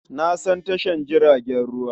Na san tashar jiragen ruwa.